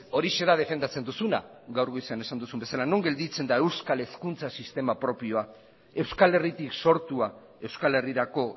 horixe da defendatzen duzuna gaur goizean esan duzun bezala non gelditzen da euskal hezkuntza sistema propioa euskal herritik sortua euskal herrirako